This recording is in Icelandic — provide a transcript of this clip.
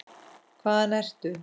Hvaðan ertu?